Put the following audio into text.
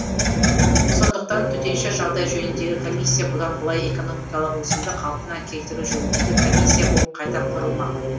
сондықтан төтенше жағдай жөніндегі комиссия бұдан былай экономикалық өсімді қалпына келтіру жөніндегі комиссия болып қайта құрылмақ